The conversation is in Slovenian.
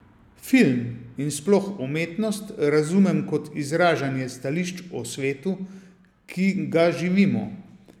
Film, in sploh umetnost, razumem kot izražanje stališč o svetu, ki ga živimo.